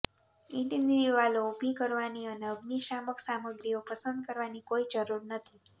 ઈંટની દિવાલો ઉભી કરવાની અને અગ્નિશામક સામગ્રીઓ પસંદ કરવાની કોઈ જરૂર નથી